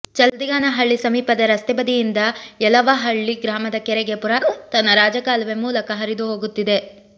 ಚಲ್ದಿಗಾನಹಳ್ಳಿ ಸಮೀಪದ ರಸ್ತೆ ಬದಿಯಿಂದ ಯಲವಹಳ್ಳಿ ಗ್ರಾಮದ ಕೆರೆಗೆ ಪುರಾತನ ರಾಜ ಕಾಲುವೆ ಮೂಲಕ ಹರಿದು ಹೋಗುತ್ತಿದೆ